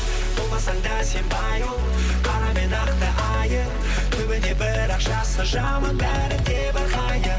болмасаң да сен қара мен ақты айыр түбінде бірақ жақсы жаман бәрі небір хайыр